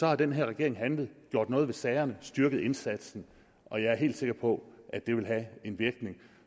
har den her regering handlet gjort noget ved sagerne styrket indsatsen og jeg er helt sikker på at det vil have en virkning